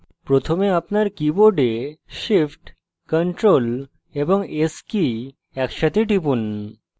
প্রথমে আপনার keyboard shift ctrl এবং s কী একসাথে টিপুন